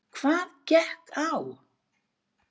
Hvað gekk á?